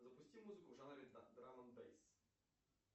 запусти музыку в жанре драм энд бэйс